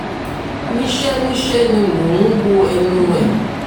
níṣẹ́ níṣẹ́ ni mò ń wo ẹnu ẹ̀